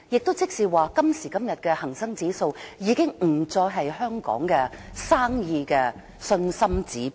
換言之，今時今日的恒生指數已不再是香港生意的信心指標。